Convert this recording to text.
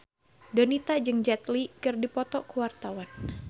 Donita jeung Jet Li keur dipoto ku wartawan